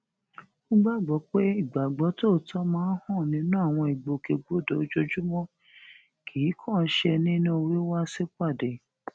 ó gbàgbó pé ìgbàgbó tòótó máa ń hàn nínú àwọn ìgbòkègbodò ojoojúmó kì í kànán ṣe nínú wíw sipade